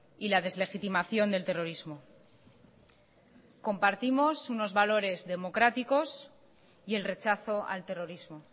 y la deslegitimación del terrorismo compartimos unos valores democráticos y el rechazo al terrorismo